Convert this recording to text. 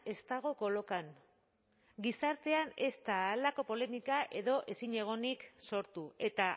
ez dago kolokan gizartean ez da halako polemika edo ezinegonik sortu eta